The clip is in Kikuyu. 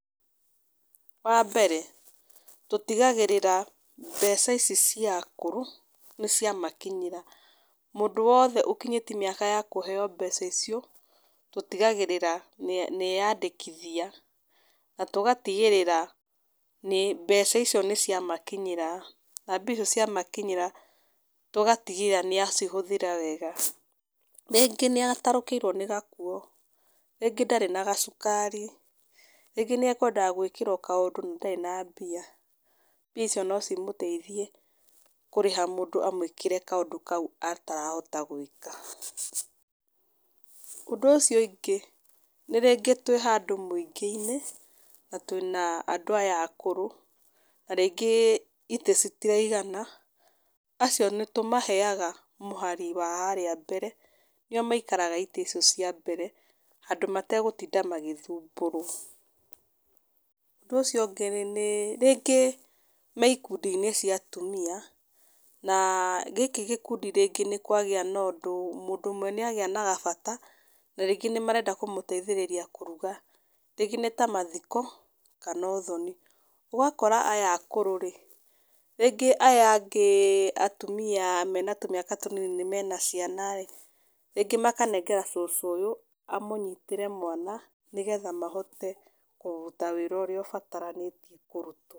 Wa mbere, tũtigagĩrĩra mbeca ici cia akũrũ, nĩ ciamakinyĩra. Mũndũ wothe ũkinyĩti mĩaka ya kũheo mbeca icio, tũtigagĩrĩra nĩ nĩ eyandĩkithia. Na tũgatigĩrĩra nĩ mbeca icio nĩ ciamakinyĩra, na mbia icio ciamakinyĩra tũgatigĩrĩra nĩ acihũthĩra wega. Rĩngĩ nĩ atarũkĩirwo nĩ gakuo, rĩngĩ ndarĩ na gacukari, rĩngĩ nĩ ekwendaga gũkĩrwo kaũndũ na ndarĩ na mbia. Mbia icio no cimũteithie kũrĩha mũndũ amũĩkĩre kaũndũ kau atarahota gwĩka. Ũndũ ũcio ũngĩ, nĩ rĩngĩ twĩ handũ mũingĩ-inĩ, na twĩna andũ aya akũrũ, na rĩngĩ itĩ citiraigana, acio nĩ tũmaheaga mũhari wa harĩa mbere, nĩo maikaraga itĩ icio cia mbere, handũ mategũtinda magĩthumbũrwo. Ũndũ ũcio ũngĩ nĩ nĩ, rĩngĩ me ikundi-inĩ cia atumia, na gĩkĩ gĩkundi rĩngĩ nĩ kwagĩa na ũndũ mũndũ ũmwe nĩ agĩa na gabata, na rĩngĩ nĩ marenda kũmũteithĩrĩria kũruga. Rĩngĩ nĩ ta mathiko, kana ũthoni. Ũgakora aya akũrũ rĩ, rĩngĩ aya angĩ atumia mena tũmĩaka tũnini mena ciana ĩĩ, rĩngĩ makanengera cũcũ ũyũ, amũnyitĩre mwana, nĩgetha mahote kũruta wĩra ũrĩa ũbatarainie kũrutwo.